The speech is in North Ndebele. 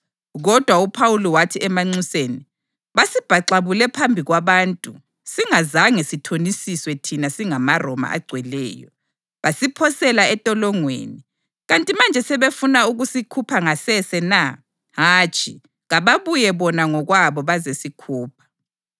Kodwa uPhawuli wathi emanxuseni: “Basibhaxabule phambi kwabantu singazange sithonisiswe thina singamaRoma agcweleyo, basiphosela entolongweni. Kanti manje sebefuna ukusikhupha ngasese na? Hatshi! Kababuye bona ngokwabo bazesikhupha.”